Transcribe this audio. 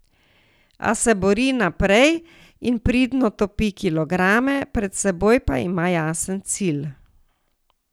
A se bori naprej in pridno topi kilograme, pred seboj pa ima jasen cilj.